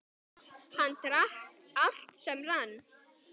Hann drakk allt sem rann.